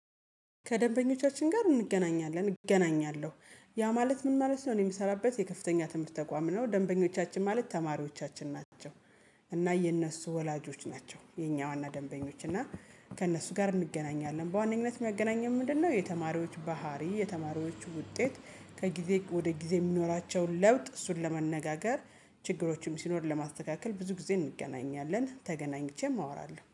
ከደንበኞቻችን ጋር እንገናኛለን እገናኛለሁ ያ ማለት ምን ማለት ነው? እኔ የምሰራበት የከፍተኛ ትምህርት ተቋም ነው ደንበኞቻችን ማለት ተማሪዎቻችን ናቸው። እና የእነሱ ወላጆች ናቸው የኛ ዋና ደንበኞች እና። ከእነሱ ጋር እንገናኛለን በዋነኝነት የሚያገናኘን ምንድነው? የተማሪዎች ባህሪ የተማሪዎች ውጤት ከጊዜ ወደ ጊዜ የሚኖራቸውን ለውጥ እሱን ለመነጋገር ችግሮችም ሲኖር ለማስተካከል ብዙ ጊዜ እንገናኛለን ተገናኝቼም አወራለሁ